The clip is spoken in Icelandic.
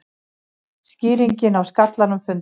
Skýringin á skallanum fundin